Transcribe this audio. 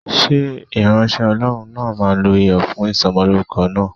Ṣé ìránṣẹ́ Ọlọ́run náà máa lo Iyọ̀ fún Ìsọmọlórúkọ náà?